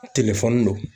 don